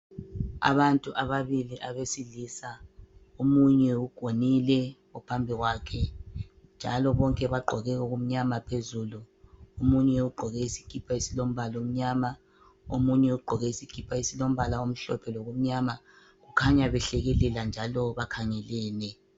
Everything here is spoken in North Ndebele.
Abantu ababili abesilisa omunye ugonile ophambi kwakhe, njalo bonke bagqoke okumnyama phezulu. Omunye ugqoke isikipa esilombala omnyama omunye ugqoke isikipa esilombala omhlophe lokumnyama. Kukhanya behlekelela njalo bakhangelene.